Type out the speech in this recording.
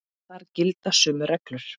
En þar gilda sömu reglur.